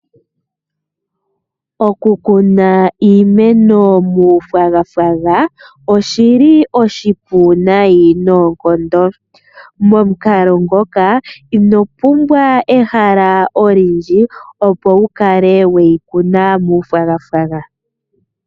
Okukuna iimeno muu nailona oshili nayi noonkondo. Momukalo ngoka ino pumbwa ehala olindji opo wukale weyi kuna muu nailona